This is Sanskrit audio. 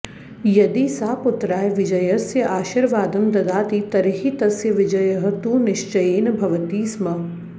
यदि सा पुत्राय विजयस्य आशीर्वादं ददाति तर्हि तस्य विजयः तु निश्चयेन भवति स्म